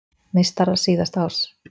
Meistarar síðasta árs